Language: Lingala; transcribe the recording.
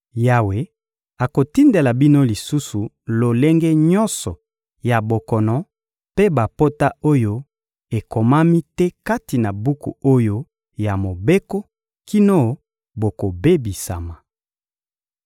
Yawe akotindela bino lisusu lolenge nyonso ya bokono mpe bapota oyo ekomami te kati na buku oyo ya Mobeko, kino bokobebisama.